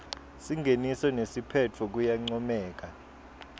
singeniso nesiphetfo kuyancomeka